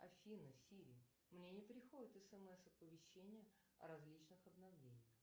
афина сири мне не приходит смс оповещение о различных обновлениях